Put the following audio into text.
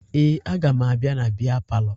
Ee, aga m abịa na bịa palọ